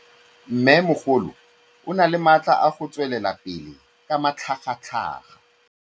Mmêmogolo o na le matla a go tswelela pele ka matlhagatlhaga.